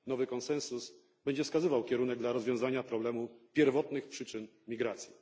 Nowy konsensus będzie wskazywał kierunek rozwiązania problemu pierwotnych przyczyn migracji.